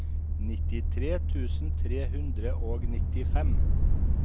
nittitre tusen tre hundre og nittifem